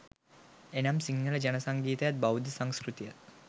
එනම් සිංහල ජන සංගීතයත්, බෞද්ධ සංස්කෘතියත්